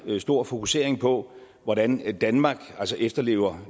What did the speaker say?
meget stor fokusering på hvordan danmark efterlever